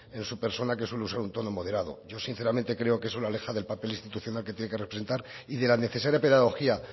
en su persona que suele usar un tono moderado yo sinceramente creo que eso le aleja del papel institucional que tiene que representar y de la necesaria pedagogía